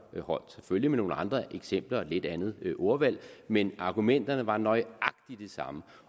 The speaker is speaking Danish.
holdt selvfølgelig med nogle andre eksempler og et lidt andet ordvalg men argumenterne var nøjagtig de samme